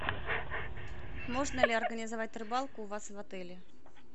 можно ли организовать рыбалку у вас в отеле